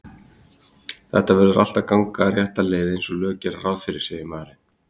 Þetta verður allt að ganga rétta leið einsog lög gera ráð fyrir, segir maðurinn.